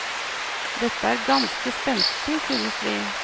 Dette er ganske spenstig synes vi.